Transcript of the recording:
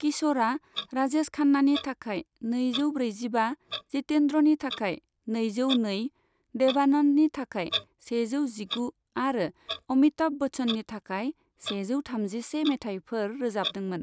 किश'रआ राजेश खान्नानि थाखाय नैजौ ब्रैजिबा, जितेन्द्रनि थाखाय नैजौ नै, देबानन्दनि थाखाय सेजौ जिगु आरो अमिताभ बच्चननि थाखाय सेजौ थामजिसे मेथाइफोर रोजाबदोंमोन।